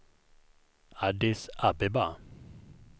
Addis Abeba